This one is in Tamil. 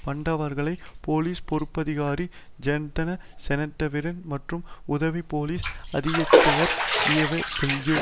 பண்டவர்களை போலிஸ் பொறுப்பதிகாரி ஜயன்த செனவிரட்ன மற்றும் உதவி போலிஸ் அத்தியட்சகர் ஏவகள்யூ